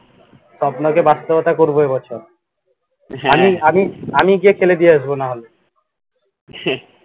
স্বপ্নকে বাস্তবতা করব এ বছর আমি গিয়ে খেলে দিয়ে আসব না হলে